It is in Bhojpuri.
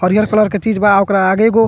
हरियर कलर के चीज़ बा ओकरा आगे एगो --